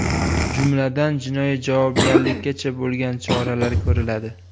Jumladan, jinoiy javobgarlikkacha bo‘lgan choralar ko‘riladi.